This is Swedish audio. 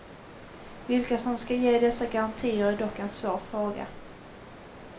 Vilka som ska ge dessa garantier är dock en svår fråga.